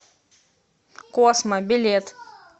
космо билет